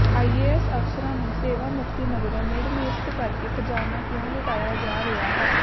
IAS ਅਫਸਰਾਂ ਨੂੰ ਸੇਵਾਮੁਕਤੀ ਮਗਰੋਂ ਮੁੜ ਨਿਯੁਕਤ ਕਰਕੇ ਖ਼ਜ਼ਾਨਾ ਕਿਉਂ ਲੁਟਾਇਆ ਜਾ ਰਿਹਾ ਹੈ